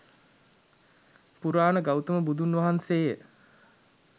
පුරාණ ගෞතම බුදුන් වහන්සේ ය